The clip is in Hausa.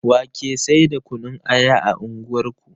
Wa ke sai da kunun aya a unguwar ku